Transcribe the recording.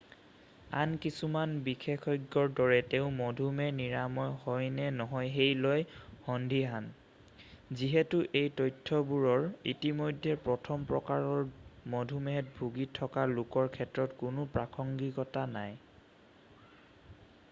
আন কিছুমান বিশেষজ্ঞৰ দৰে তেওঁ মধুমেহ নিৰাময় হয়নে নহয় সেই লৈ সন্দিহান যিহেতু এই তথ্যবোৰৰ ইতিমধ্যে প্ৰথম প্ৰকাৰৰ মধুমেহত ভুগি থকা লোকৰ ক্ষেত্ৰত কোনো প্ৰাসংগিকতা নাই।